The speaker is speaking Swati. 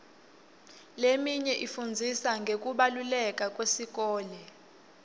leminye ifundzisa ngekubaluleka kwesikole